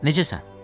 Necəsən?